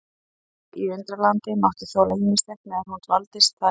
Lísa í Undralandi mátti þola ýmislegt meðan hún dvaldist þar í landi.